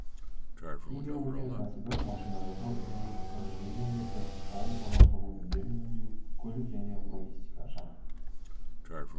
химия өнеркәсібі машина жасау энергетика жеңіл өнеркәсіп ауыл шаруашылық өнімдерін өңдеу көлік және логистика жаңа